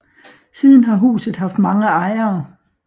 Siden har huset haft mange ejere